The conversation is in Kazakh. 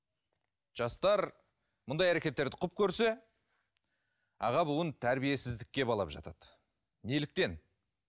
жастар мұндай әрекеттерді құп көрсе аға буын тәрбиесіздікке балап жатады неліктен